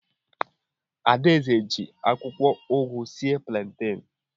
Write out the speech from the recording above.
Ada eze ji akwụkwọ ugu sie planten.